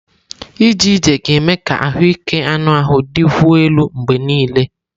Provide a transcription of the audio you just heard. Ije ije ga-eme ka ahụike anụ ahụ dịkwuo elu mgbe niile.